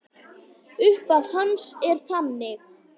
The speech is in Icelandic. Upphaf hans er þannig